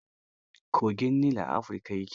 Kogin Nil a Afrika ya ke.